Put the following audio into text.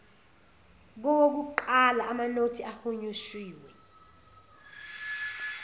kowokuqala amanothi ahunyushiwe